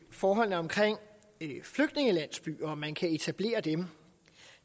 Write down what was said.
forholdene omkring flygtningelandsbyer og om man kan etablere dem